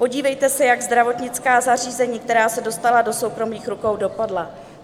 Podívejte se, jak zdravotnická zařízení, která se dostala do soukromých rukou, dopadla.